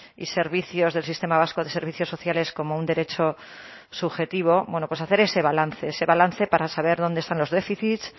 y servicios del sistema vasco de servicios sociales como un derecho subjetivo bueno pues hacer ese balance ese balance para saber dónde están los déficit